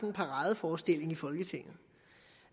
en paradeforestilling i folketinget